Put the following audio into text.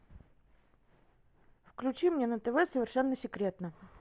включи мне на тв совершенно секретно